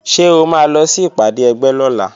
Ṣé o máa lọ sí ìpàdé ẹgbẹ́ lọ́la?